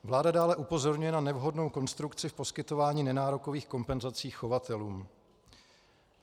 Vláda dále upozorňuje na nevhodnou konstrukci v poskytování nenárokových kompenzací chovatelům.